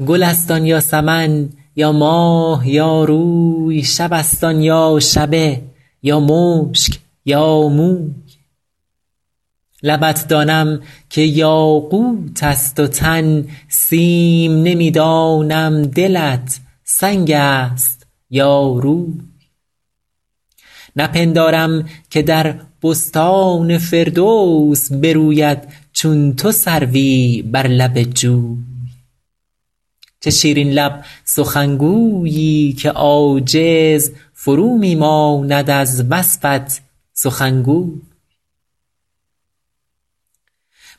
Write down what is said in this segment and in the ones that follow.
گل است آن یا سمن یا ماه یا روی شب است آن یا شبه یا مشک یا موی لبت دانم که یاقوت است و تن سیم نمی دانم دلت سنگ است یا روی نپندارم که در بستان فردوس بروید چون تو سروی بر لب جوی چه شیرین لب سخنگویی که عاجز فرو می ماند از وصفت سخنگوی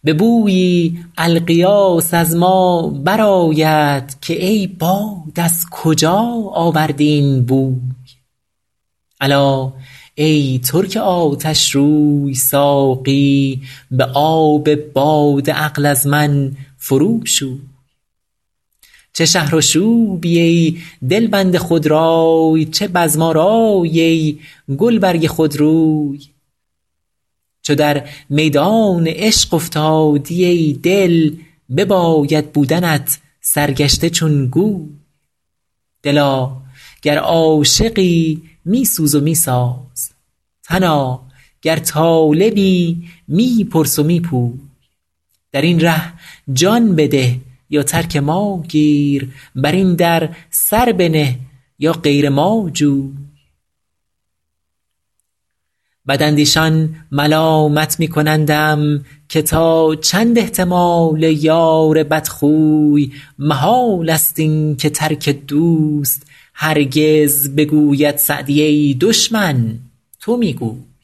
به بویی الغیاث از ما برآید که ای باد از کجا آوردی این بوی الا ای ترک آتشروی ساقی به آب باده عقل از من فرو شوی چه شهرآشوبی ای دلبند خودرای چه بزم آرایی ای گلبرگ خودروی چو در میدان عشق افتادی ای دل بباید بودنت سرگشته چون گوی دلا گر عاشقی می سوز و می ساز تنا گر طالبی می پرس و می پوی در این ره جان بده یا ترک ما گیر بر این در سر بنه یا غیر ما جوی بداندیشان ملامت می کنندم که تا چند احتمال یار بدخوی محال است این که ترک دوست هرگز بگوید سعدی ای دشمن تو می گوی